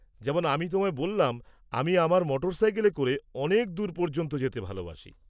যেমন আমি তোমায় বললাম, আমি আমার মোটরসাইকেলে করে অনেক দূর পর্যন্ত যেতে ভালবাসি।